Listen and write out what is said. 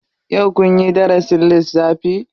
Yau kunyi darasin lissafi?